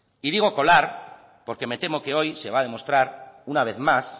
y digo colar porque me temo que hoy se va a demostrar una vez más